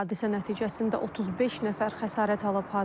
Hadisə nəticəsində 35 nəfər xəsarət alıb.